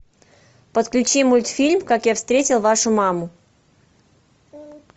подключи мультфильм как я встретил вашу маму